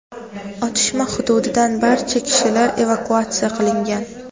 Otishma hududidan barcha kishilar evakuatsiya qilingan.